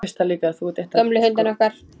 Gömlu hundana okkar.